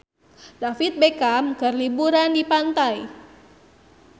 David Beckham keur liburan di pantai